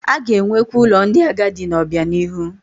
A ga-enwekwu ụlọ ndị agadi n'obianihu